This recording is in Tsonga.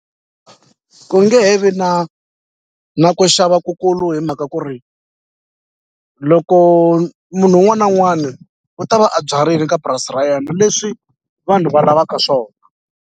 Ku nge he vi na na ku xava kukulu hi mhaka ku ri loko munhu wun'wana na wun'wani u ta va a byarile ka purasi ra yena leswi vanhu va lavaka swona.